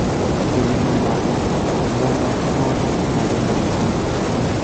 To e pinje mamoko, mon ma kamago ng’adonegi bura.